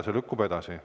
See lükkub edasi.